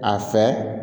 A fɛ